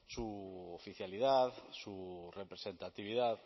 su oficialidad su representatividad